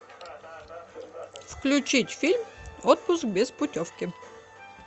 включить фильм отпуск без путевки